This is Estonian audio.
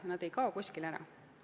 Ja need ei kao kuskile ära.